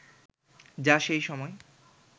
যা সেই সময়